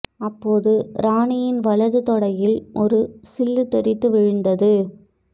அப்போது ராணியின் வலது தொடையில் ஒரு சில்லு தெறித்து விழுந்தது